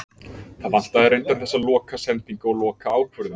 Það vantaði reyndar þessa loka sendingu og loka ákvörðun.